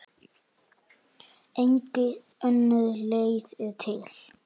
Engin önnur leið er til.